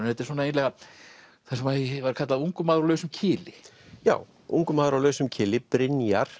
þetta er svona eiginlega það sem var kallað ungur maður á lausum kili já ungur maður á lausum kili Brynjar